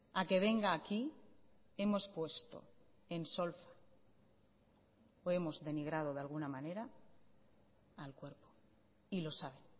a que venga aquí hemos puesto en solfa o hemos denigrado de alguna manera al cuerpo y lo sabe